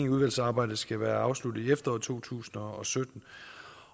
at udvalgsarbejdet skal være afsluttet i efteråret to tusind og sytten